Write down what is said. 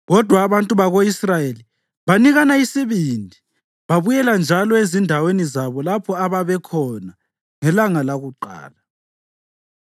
Kodwa abantu bako-Israyeli banikana isibindi babuyela njalo ezindaweni zabo lapho ababekhona ngelanga lakuqala.